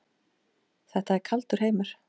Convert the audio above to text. Þetta er kaldur heimur.